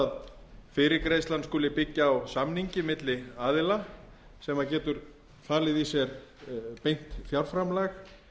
að fyrirgreiðslan skuli byggja á samningi milli aðila sem getur falið í sér beint fjárframlag